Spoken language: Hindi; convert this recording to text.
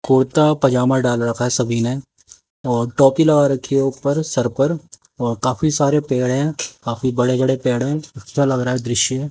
कुर्ता पजामा डाल रखा है सभी ने और टोपी लगा रखी है ऊपर सर पर और काफी सारे पेड़ हैं काफी बड़े बड़े पेड़ हैं अच्छा लग रहा है दृश्य।